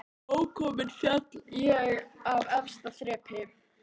Ókominn féll ég af efsta þrepi